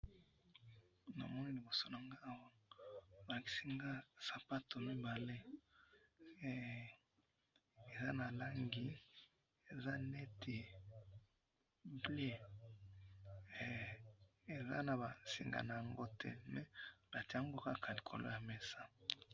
namoni liboso nangai awa balakisi ngai sapatu mibale eza na langi eza neti bleu eza naba singa yango te mais batiaka yango likolo ya mesa